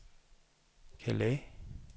Calais